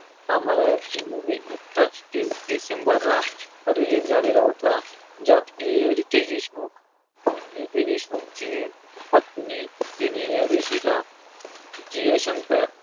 आम्हाला ही movie नुकताच तीस डिसेंबर ला release झालेला होता. ज्यात की रितेश देशमुख, रितेश देशमुखची पत्नी जेनेलिया डिसूजा, जिया शंकर आणि